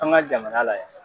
An ka jamana la yan.